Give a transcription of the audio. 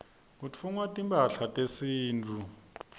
kutfungwa timphahla tesintfu